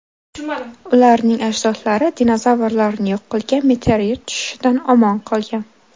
Ularning ajdodlari dinozavrlarni yo‘q qilgan meteorit tushishidan omon qolgan.